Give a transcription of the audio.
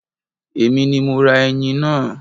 Èmi ni mo ra ẹyin náà